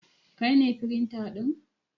Kai ne firinta ɗin?